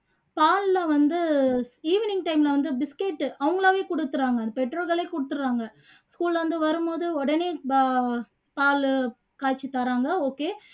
பால்ல வந்து evening time ல வந்து biscuit அவங்களாவே கொடுக்குறாங்க பெற்றோர்களே கொடுத்துடுறாங்க school ல இருந்து வரும் போது உடனே பா பாலு காய்ச்சி தர்றாங்க okay